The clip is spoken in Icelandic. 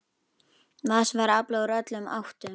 Vatns var aflað úr öllum áttum.